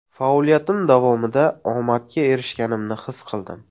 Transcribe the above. Faoliyatim davomida omadga erishganimni his qildim.